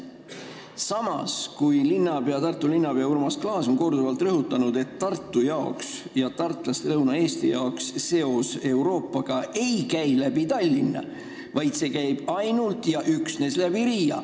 Samas on Tartu linnapea Urmas Klaas korduvalt rõhutanud, et tartlased ja teised lõunaeestlased pole muu Euroopaga seotud mitte läbi Tallinna, vaid üksnes läbi Riia.